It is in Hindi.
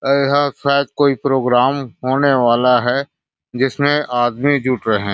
यहाँ शायद कोई प्रोग्राम होने वाला है जिसमें आदमी जुट रहै है।